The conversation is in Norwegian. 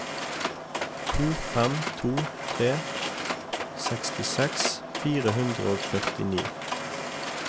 to fem to tre sekstiseks fire hundre og førtini